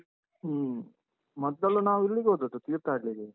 ಹ್ಮ. ಮೊದ್ಮೊದ್ಲು ನಾವು ಇಲ್ಲಿಗೆ ಹೋದದ್ದು, ತೀರ್ಥಹಳ್ಳಿಗೆ.